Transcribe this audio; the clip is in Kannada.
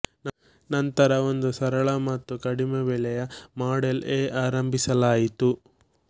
ನಂತರ ಒಂದು ಸರಳ ಮತ್ತು ಕಡಿಮೆ ಬೆಲೆಯ ಮಾಡೆಲ್ಏ ಆರಂಭಿಸಲಾಯಿತು